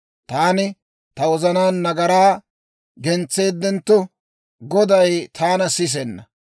Taani ta wozanaan nagaraa gentseeddentto, Goday taana sisenna.